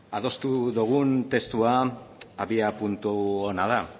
adostu dugun testua abiapuntu ona da